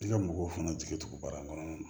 I ka mɔgɔw fana jigi tugu baara kɔnɔna na